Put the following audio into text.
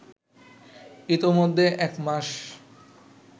ইতোমধ্যে একমাস